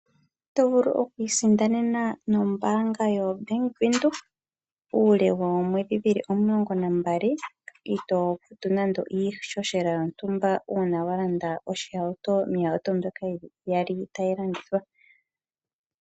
Oto vulu oku isindanena nombaanga yo Bank Widhoek, uule woomwedhi dhili omulongo na mbali itoo futu nande iihohela yontumba, uuna wa landa oshihauto, miihauto mbyoka yili iyali tayi landithwa.